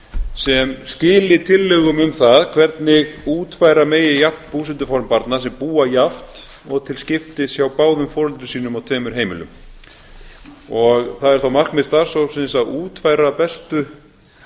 sem skili tillögum um það hvernig útfæra megi jafnt búsetuform barna sem búa jafnt og til skiptis hjá báðum foreldrum sínum á tveimur heimilum það er þá markmið starfshópsins að útfæra bestu